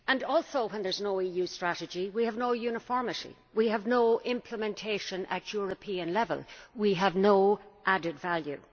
Also, when there is no EU strategy, we have no uniformity, we have no implementation at European level and we have no added value.